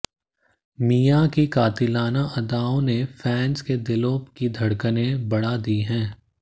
मिया की कातिलाना अदाओं ने फैंस के दिलों की धड़कनें बढ़ा दी हैं